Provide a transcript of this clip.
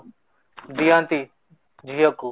ଦିଅନ୍ତି ଝିଅ କୁ